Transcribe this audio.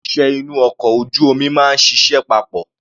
Àwọn òṣìṣẹ́ inú ọkọ̀ ojú omi máa ń ṣiṣẹ́ papọ̀.